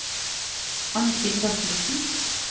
Arnfinn Rasmussen